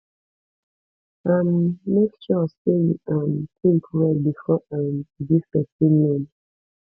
um make sure sey you um tink well before um you give pesin loan